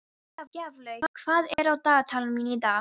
Gjaflaug, hvað er á dagatalinu mínu í dag?